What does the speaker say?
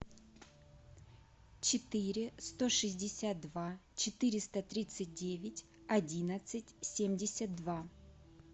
четыре сто шестьдесят два четыреста тридцать девять одиннадцать семьдесят два